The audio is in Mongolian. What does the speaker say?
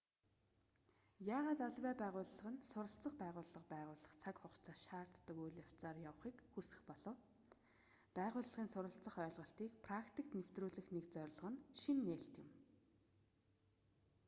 яагаад аливаа байгууллага нь суралцах байгууллага байгуулах цаг хугацаа шаарддаг үйл явцаар явахыг хүсэх болов байгууллагын суралцах ойлголтыг практикт нэвтрүүлэх нэг зорилго нь шинэ нээлт юм